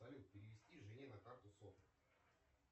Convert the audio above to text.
салют перевести жене на карту сотку